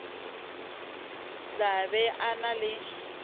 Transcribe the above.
tla be a na le